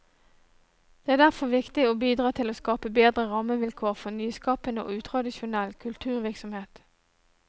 Det er derfor viktig å bidra til å skape bedre rammevilkår for nyskapende og utradisjonell kulturvirksomhet.